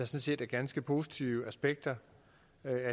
set er ganske positive aspekter